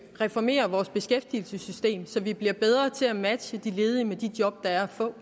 reformere vores beskæftigelsessystem så vi bliver bedre til at matche de ledige med de job der er at få